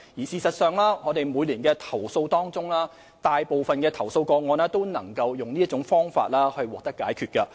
事實上，在每年的投訴中，大部分投訴個案亦能以這種方法獲得解決。